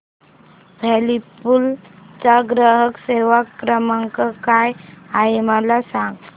Whirlpool चा ग्राहक सेवा क्रमांक काय आहे मला सांग